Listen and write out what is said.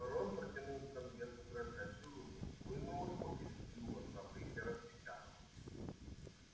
рон протянул к конверту дрожащую руку вынул его из клюва совы и распечатал